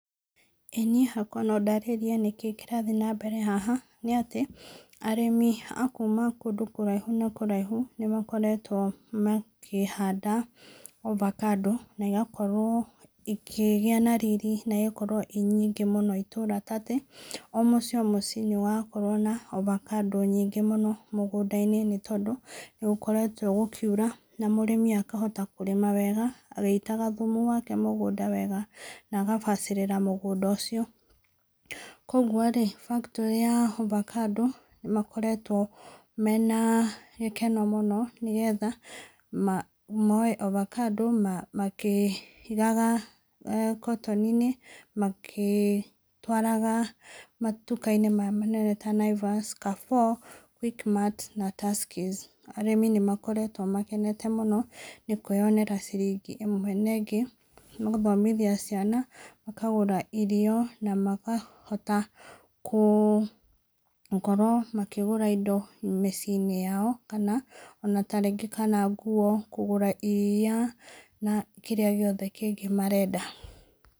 Ĩĩ niĩ no ndarĩrie kĩrĩa kĩrathiĩ na mbere haha, arĩmi akuma kũraihu na kũraihu nĩ makoretwo makĩhanda avocado na igakorwo ikĩgĩa na riri na igakorwo ciĩ nyingĩ mũno itũũra ta atĩ o mũciĩ o mũciĩ nĩ ũrakorwo na avocado nyingĩ mũno mũgũnda-inĩ nĩ tondũ nĩ gũkoretwo gũkiura na mũrĩmi akohota kũrĩma wega agĩitaga thumu mũgũnda wake wega na agabacĩrĩra mũgũnda ũcio. Kwoguo rĩ factory ya avocado nĩ koretwo mena gĩkeno nĩgetha moe avocado makĩigaga katoni magĩtwaraga matukũ-inĩ maya manene ta Naivas, , Quickmart na Tuskeys. Arĩmi nĩ makoretwo makĩnete mũno nĩ kwĩyonera ciringi ĩmwe na ĩngĩ cia gũthomithia ciana, makagũra irio na makahota gũkorwo makĩgũra indo mĩciĩ yao ona ta rĩngĩ nguo, kũgũra iria na kĩrĩa kĩngĩ marenda.